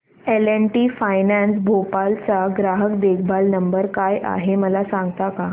L and T finance Bhopal चा ग्राहक देखभाल नंबर काय आहे मला सांगता का